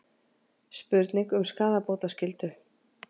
Spurning um skaðabótaskyldu